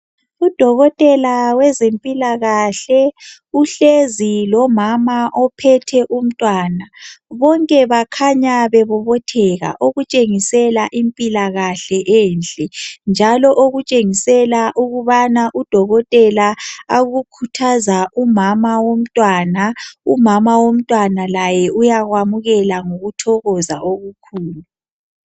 Udokotela wezempilakahle uhlezi lomama ophethe umntwana. Bonke bakhanya bebobotheka, okutshengisela impilakahle enhle njalo okutshengisela ukubana udokotela akukhuthaza umama womtwana umama womntwana laye uyakwamukela ngokuthokoza okukhulu.